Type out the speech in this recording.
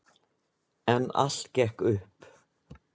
En allt gekk upp.